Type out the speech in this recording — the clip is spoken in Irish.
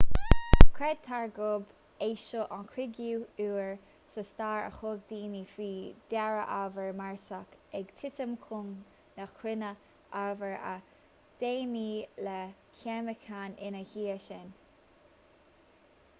creidtear gurb é seo an cúigiú huair sa stair a thug daoine faoi deara ábhar marsach ag titim chun na cruinne ábhar a deimhníodh le ceimiceáin ina dhiaidh sin